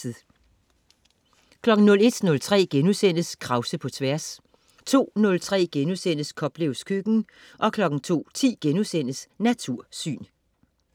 01.03 Krause på Tværs* 02.03 Koplevs Køkken* 02.10 Natursyn*